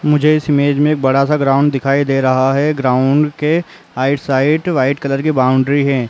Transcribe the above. मुझे इस इमेज में एक बड़ा सा ग्राउंड दिखाई दे रहा है। ग्राउंड के आई साइड वाइट कलर की बाउंड्री है।